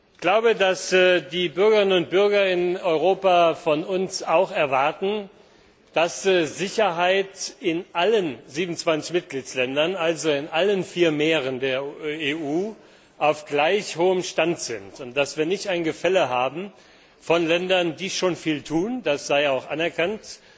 Ich glaube, dass die Bürgerinnen und Bürger in Europa von uns auch erwarten, dass die Sicherheit in allen 27 Mitgliedsländern, also in allen vier Meeren der EU, auf gleich hohem Stand ist und dass wir nicht ein Gefälle haben von Ländern, die schon viel tun das sei auch anerkannt